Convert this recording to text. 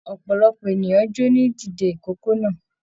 Ọpọlọpọ ènìyàn jọ ní dìde ìkókó náà